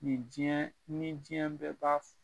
Nin diɲɛɛ ni diɲɛ bɛɛ b'a f